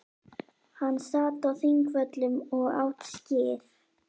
Hann sat á Þingvöllum og át skyr.